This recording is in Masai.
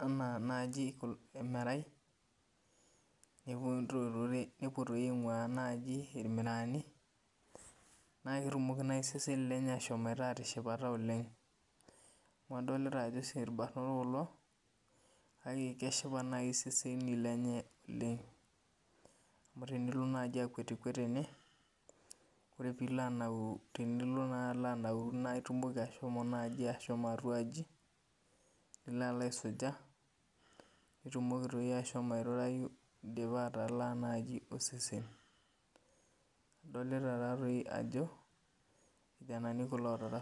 anaa naji emerai, nepuo toi aing'ua naji irmiraani, na ketumoki naji iseseni lenye ashomoita atishipata oleng. Amu adolita ajo si irbanot kulo, kake keshipa nai iseseni lenye amu tenilo naji akwetikwet tene, ore pilo anauru tenilo naa alanauru na itumoki ashomo naji ashomo atua aji, nilo alo aisuja, nitumoki toi ashomo airurayu idipa atalaa naji osesen. Adolita tatoi ajo, irkijanani kulo